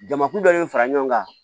Jamakulu dɔ de fara ɲɔgɔn kan